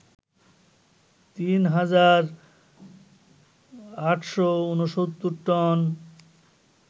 ৩ হাজার ৮৬৯ টন